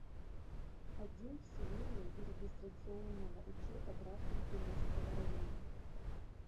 отдел вселения и регистрационного учета граждан приморского района